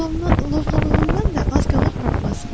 Lovğalığından da az qalır partlasın.